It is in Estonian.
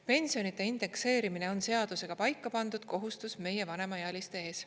Pensionide indekseerimine on seadusega paika pandud kohustus meie vanemaealiste ees.